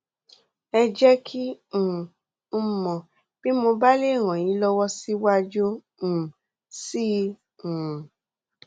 ẹ jẹ kí um n mọ bí mo bá lè ràn yín lọwọ síwájú um sí i um